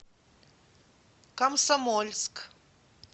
комсомольск